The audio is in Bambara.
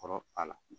Kɔrɔ a la